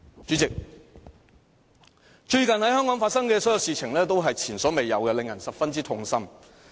主席，最近在香港發生的所有事情，都是前所未有的，令人十分痛心。